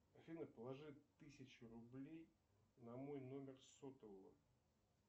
афина положи тысячу рублей на мой номер сотового